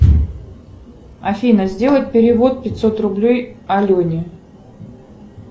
афина сделай перевод пятьсот рублей алене